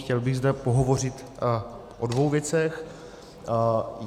Chtěl bych zde pohovořit o dvou věcech.